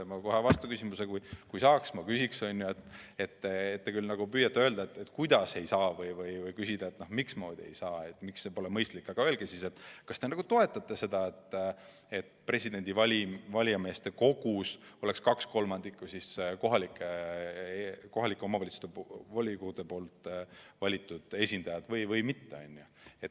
Ma küsiksin kohe vastu, kui saaks, et te küll püüate öelda, kuidas ei saa, või küsida, miks ei saa, miks see pole mõistlik, aga öelge siis, kas te toetate seda, et valijameeste kogus oleks kaks kolmandikku kohalike omavalitsuste volikogude valitud esindajaid või mitte.